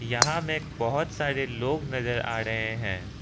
यहां में बहुत सारे लोग नजर आ रहे हैं।